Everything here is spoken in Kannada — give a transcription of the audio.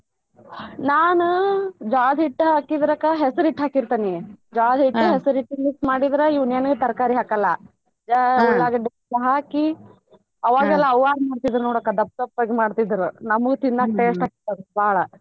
ನಾನು ಜ್ವಾಳದ ಹಿಟ್ಟ ಹಾಕಿರದಕ್ಕ ಹೆಸರ ಹಿಟ್ಟ ಹಾಕಿರತೆನಿ ಜ್ವಾಳದ ಹಿಟ್ಟ, ಹೆಸರ ಹಿಟ್ಟ mix ಮಾಡಿದರ ಇನ್ನೇನು ತರಕಾರಿ ಹಾಕಲ್ಲ ಹಾಕಿ ಆವಗೆಲ್ಲಾ ಅವ್ವಾದು ಮಾಡತಿದ್ರ ನೋಡ ಅಕ್ಕ ದಪ್ಪ್ ದಪ್ಪಗ್ ಮಾಡತಿದ್ರ ನಮಗ ತಿನ್ನಾಕ taste ಹತ್ತಲ್ಲ ಅದ ಬಾಳ.